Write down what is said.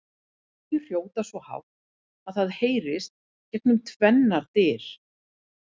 Þau hrjóta svo hátt að það heyrist gegnum tvennar dyr!